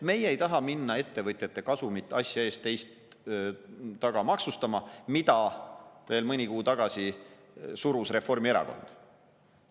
Meie ei taha minna ettevõtjate kasumit asja ees, teist taga maksustama, mida veel mõni kuu tagasi tahtis läbi suruda Reformierakond.